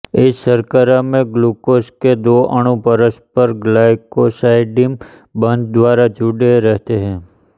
इस शर्करा में ग्लूकोस के दो अणु परस्पर ग्लाइकोसाइडिम बन्ध द्वारा जुड़े रहते हैं